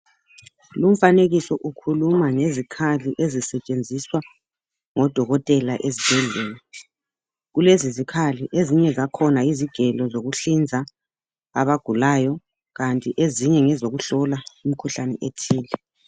Lumfanekiso ukhuluma ngezikhali ezisetshenziswa ngodokotela ezibhedlela. Kulezizikhali ezinye zakhona yizigelo zokuhlinza abagulayo kanti ezinye ngezokuhlola imikhuhlane ethile.